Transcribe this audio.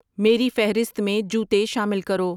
میری فہرست میں جوتے شامل کرو